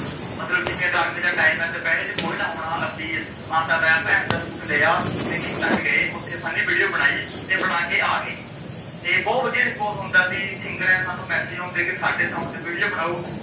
ਮੱਤਲਬ ਜਿਵੇਂ ਗਰਮੀ ਦਾ ਟਾਈਮ ਏ ਦੁਪਹਿਰੇ ਜੇ ਕੋਈ ਨਾਂ ਹੋਣਾ ਅਸੀਂ ਮਾਤਾ ਦਾ ਜਾ ਭੈਣ ਦਾ ਸੂਟ ਲਿਆ ਤੇ ਖੇਤ ਚ ਗਏ ਓਥੇ funny video ਬਣਾਈ ਤੇ ਬਣਾ ਕੇ ਆ ਗਏ ਤੇ ਬਹੁਤ ਵਧੀਆ response ਆਉਂਦਾ ਸੀ। ਸਿੰਗਰਾਂ ਦੇ ਸਾਨੂੰ message ਆਉਂਦੇ ਕੀ ਸਾਡੇ ਕਿ sound ਤੇ video ਬਣਾਓ